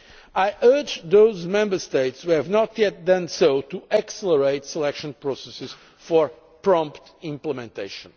I urge those Member States who have not yet done so to accelerate selection processes for prompt implementation.